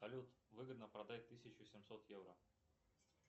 салют выгодно продать тысячу семьсот евро